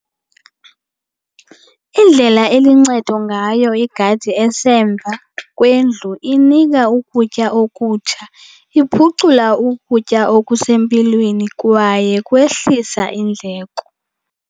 Indlela eluncedo ngayo igadi esemva kwendlu inika ukutya okutsha, iphucula ukutya okusempilweni kwaye kwehlisa iindleko.